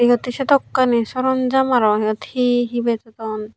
iyot he sedokani soron jamaro he he betton.